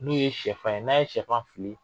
N'u ye sɛfan ye, n'a ye sɛfan fili